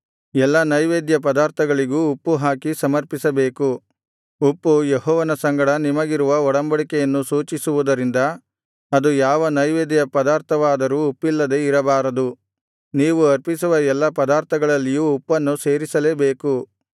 ಎಲ್ಲಾ ನೈವೇದ್ಯ ಪದಾರ್ಥಗಳಿಗೂ ಉಪ್ಪುಹಾಕಿ ಸಮರ್ಪಿಸಬೇಕು ಉಪ್ಪು ಯೆಹೋವನ ಸಂಗಡ ನಿಮಗಿರುವ ಒಡಂಬಡಿಕೆಯನ್ನು ಸೂಚಿಸುವುದರಿಂದ ಅದು ಯಾವ ನೈವೇದ್ಯ ಪದಾರ್ಥವಾದರೂ ಉಪ್ಪಿಲ್ಲದೆ ಇರಬಾರದು ನೀವು ಅರ್ಪಿಸುವ ಎಲ್ಲಾ ಪದಾರ್ಥಗಳಲ್ಲಿಯೂ ಉಪ್ಪನ್ನು ಸೇರಿಸಲೇಬೇಕು